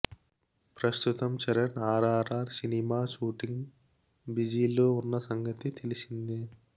ప్రస్తుతం చరణ్ ఆర్ఆర్ఆర్ సినిమా షూటింగ్ బిజీలో ఉన్న సంగతి తెలిసిందే